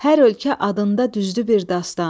Hər ölkə adında düzdü bir dastan.